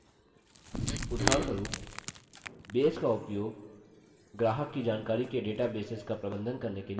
उदाहरणस्वरूप base का उपयोग ग्राहक की जानकारी के databases का प्रबंधन करने के लिए किया जा सकता है